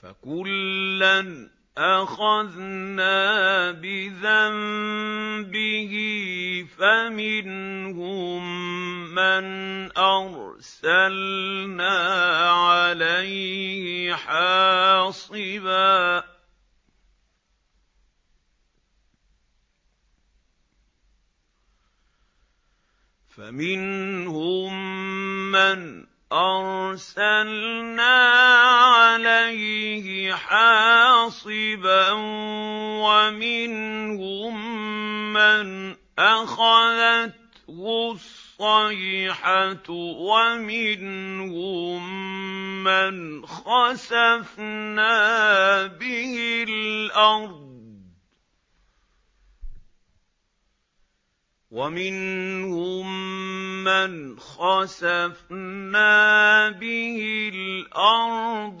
فَكُلًّا أَخَذْنَا بِذَنبِهِ ۖ فَمِنْهُم مَّنْ أَرْسَلْنَا عَلَيْهِ حَاصِبًا وَمِنْهُم مَّنْ أَخَذَتْهُ الصَّيْحَةُ وَمِنْهُم مَّنْ خَسَفْنَا بِهِ الْأَرْضَ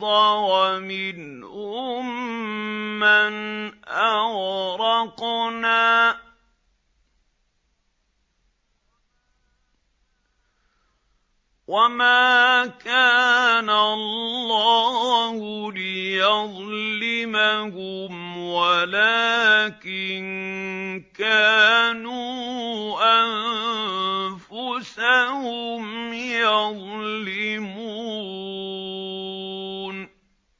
وَمِنْهُم مَّنْ أَغْرَقْنَا ۚ وَمَا كَانَ اللَّهُ لِيَظْلِمَهُمْ وَلَٰكِن كَانُوا أَنفُسَهُمْ يَظْلِمُونَ